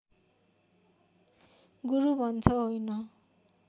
गुरु भन्छ होइन